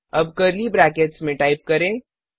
अब curly brackets में type करें